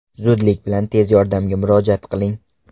Zudlik bilan tez yordamga murojaat qiling.